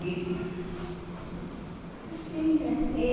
E... É assim, né? E